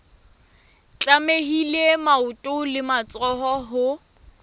tlamehile maoto le matsoho ho